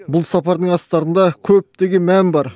бұл сапардың астарында көптеген мән бар